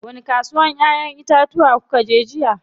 Wani kasuwar ƴayen itatuwa kukaje jiya?